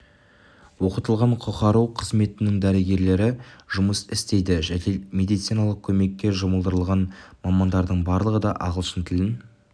оқытылған құқару қызметінің дәрігері жұмыс істейді жедел медициналық көмекке жұмылдырылған мамандардың барлығы да ағылшын тілін